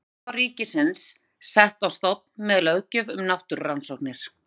Rannsóknaráð ríkisins sett á stofn með löggjöf um náttúrurannsóknir.